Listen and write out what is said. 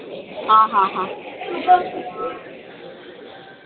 हा हा हा